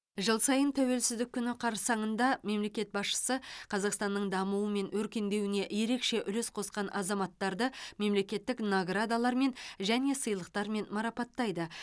жыл сайын тәуелсіздік күні қарсаңында мемлекет басшысы қазақстанның дамуы мен өркендеуіне ерекше үлес қосқан азаматтарды мемлекеттік наградалармен және сыйлықтармен марапаттайды